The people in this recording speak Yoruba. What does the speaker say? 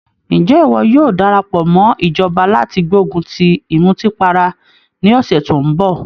Ǹjẹ́ ìwọ yóò darapọ̀ mọ́ ìjọba láti gbógun ti ìmùtípara ní ọ̀sẹ̀ tó ń bọ̀?